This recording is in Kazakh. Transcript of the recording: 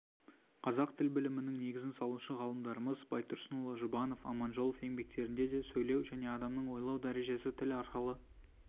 қазақ тіл білімінің негізін салушы ғалымдарымыз байтұрсынұлы жұбанов аманжолов еңбектерінде де сөйлеу және адамның ойлау дәрежесі тіл арқылы